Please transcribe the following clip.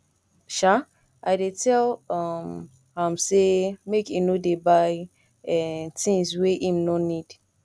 um i dey tell um am sey make e no dey buy um tins wey im nor need